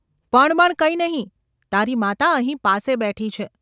‘પણ બણ કંઈ નહિ. તારી માતા અહીં પાસે બેઠી છે.